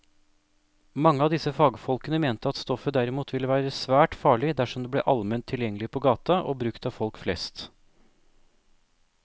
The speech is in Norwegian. Mange av disse fagfolkene mente at stoffet derimot ville være svært farlig dersom det ble allment tilgjengelig på gaten og brukt av folk flest.